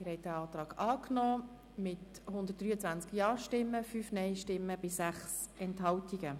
Sie haben den Antrag angenommen mit 123 Ja- gegen 5 Nein-Stimmen bei 6 Enthaltungen.